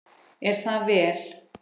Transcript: Er það vel.